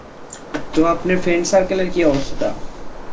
তো আপনি friends circle এর কি অবস্থা?